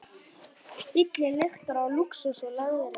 Bíllinn lyktar af lúxus og leðri.